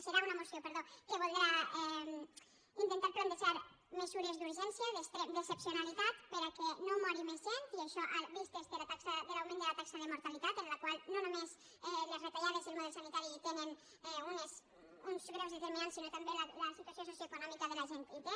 serà una moció perdó que voldrà intentar plantejar mesures d’urgència d’excepcionalitat perquè no mori més gent i això vist l’augment de la taxa de mortalitat en la qual no només les retallades i el model sanitari hi tenen uns greus determinants sinó que també la situació socioeconòmica de la gent hi té